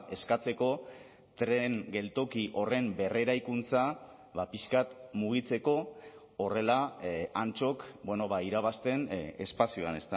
eskatzeko tren geltoki horren berreraikuntza pixka bat mugitzeko horrela antxok irabazten espazioan